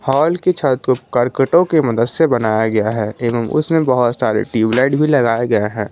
Hall की छत को कर्कटों के मदद से बनाया गया है एवं उसमें बहुत सारे ट्यूबलाइट भी लगाया गया है।